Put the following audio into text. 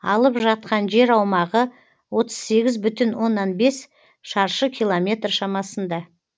алып жатқан жер аумағы отыз сегіз бүтін оннан бес шаршы километр шамасында